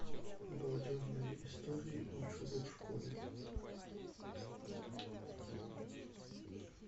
балдежные истории учеба в школе